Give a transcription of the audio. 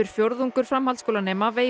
fjórðungur framhaldsskólanema